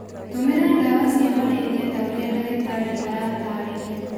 Tũmĩra ndawa cia malaria ta ũrĩa ndagĩtarĩ aratarĩria.